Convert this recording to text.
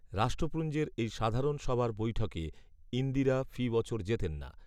রাষ্ট্রপূঞ্জের এই সাধারণ সভার বৈঠকে ইন্দিরা ফি বছর যেতেন না